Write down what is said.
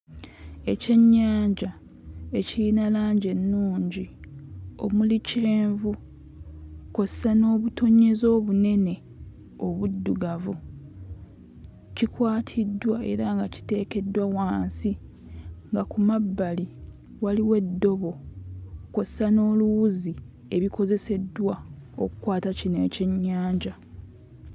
Ekyennyanja ekiyina langi ennungi omuli kyenvu kw'ossa n'obutonnyeze obunene obuddugavu kikwatiddwa era nga kiteekeddwa wansi nga ku mabbali waliwo eddobo kw'ossa n'oluwuzi ebikozeseddwa okkwata kino ekyennyanja.